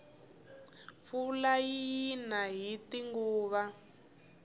pfula yina hiti nguva